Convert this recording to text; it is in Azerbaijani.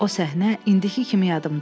O səhnə indiki kimi yadımdadır.